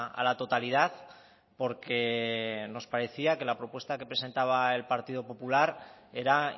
a la totalidad porque nos parecía que la propuesta que presentaba el partido popular era